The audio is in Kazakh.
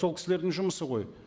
сол кісілердің жұмысы ғой